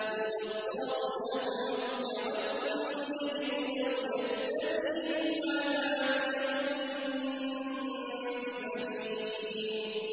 يُبَصَّرُونَهُمْ ۚ يَوَدُّ الْمُجْرِمُ لَوْ يَفْتَدِي مِنْ عَذَابِ يَوْمِئِذٍ بِبَنِيهِ